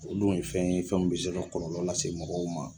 O dun ye fɛn ye fɛn min bɛ se ka kɔlɔlɔ lase se mɔgɔw ma.